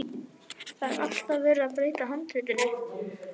Það er alltaf verið að breyta handritinu.